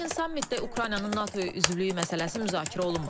Lakin sammitdə Ukraynanın NATO-ya üzvlüyü məsələsi müzakirə olunmur.